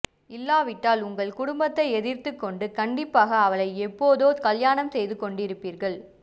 இல்லாவிட்டால் உங்கள் குடும்பத்தை எதிர்த்துக் கொண்டு கண்டிப்பாக அவளை எப்போதோ கல்யாணம் செய்து கொண்டிருபீர்கள்